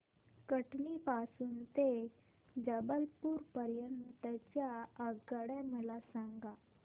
कटनी पासून ते जबलपूर पर्यंत च्या आगगाड्या मला सांगा